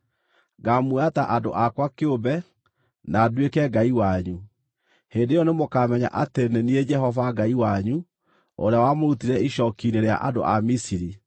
Ngaamuoya ta andũ akwa kĩũmbe, na nduĩke Ngai wanyu. Hĩndĩ ĩyo nĩmũkamenya atĩ nĩ niĩ Jehova Ngai wanyu ũrĩa wamũrutire icooki-inĩ rĩa andũ a Misiri.